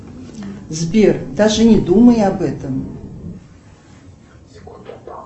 сбер даже не думай об этом